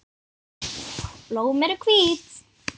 Blóm eru hvít.